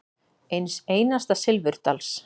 Eins einasta silfurdals.